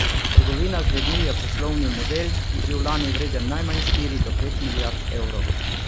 Trgovina z ljudmi je poslovni model, ki je bil lani vreden najmanj štiri do pet milijard evrov.